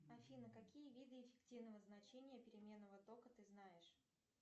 афина какие виды эффективного значения переменного тока ты знаешь